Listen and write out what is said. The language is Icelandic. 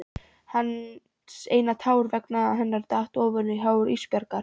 Hans eina tár vegna hennar datt ofan á hár Ísbjargar.